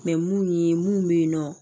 mun ye mun bɛ ye nɔ